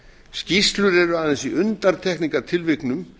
skýrslur eru aðeins í undantekningartilvikum